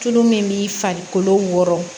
Tulu min b'i farikolo wɔrɔ